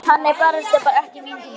Hann er barasta ekki mín týpa.